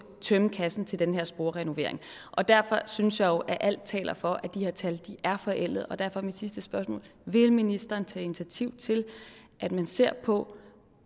tømme kassen til den her sporrenovering og derfor synes jeg jo at alt taler for at de her tal er forældet og derfor er mit sidste spørgsmål vil ministeren tage initiativ til at man ser på